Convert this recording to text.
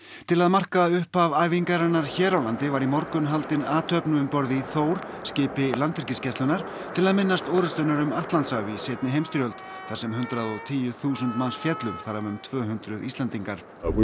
til að marka upphaf æfingarinnar hér á landi var í morgun haldin athöfn um borð í Þór skipi Landhelgisgæslunnar til að minnast orustunnar um Atlantshaf í seinni heimsstyrjöld þar sem hundrað og tíu þúsund manns féllu þar af um tvö hundruð Íslendingar við